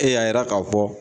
Ee y'a jira k'a fɔ